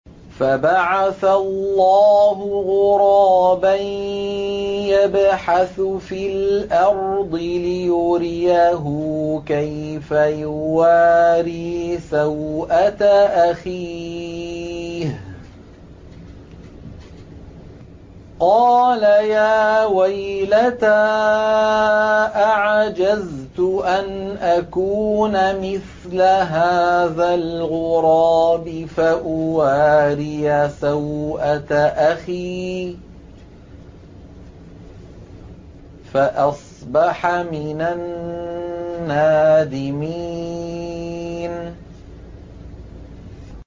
فَبَعَثَ اللَّهُ غُرَابًا يَبْحَثُ فِي الْأَرْضِ لِيُرِيَهُ كَيْفَ يُوَارِي سَوْءَةَ أَخِيهِ ۚ قَالَ يَا وَيْلَتَا أَعَجَزْتُ أَنْ أَكُونَ مِثْلَ هَٰذَا الْغُرَابِ فَأُوَارِيَ سَوْءَةَ أَخِي ۖ فَأَصْبَحَ مِنَ النَّادِمِينَ